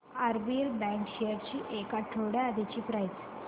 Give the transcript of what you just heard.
RBL bank shares ची एक आठवड्या आधीची प्राइस